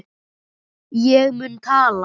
Ég mun tala.